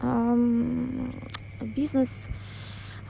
бизнес